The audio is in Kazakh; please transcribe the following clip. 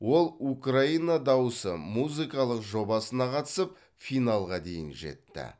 ол украина дауысы музыкалық жобасына қатысып финалға дейін жетті